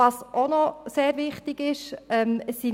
Was auch noch sehr wichtig ist: